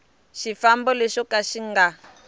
xifambo lexo ka xi nga